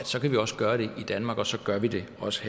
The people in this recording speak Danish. så kan vi også gøre det i danmark og så gør vi det også